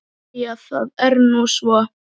Jæja það er nú svo.